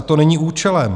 A to není účelem.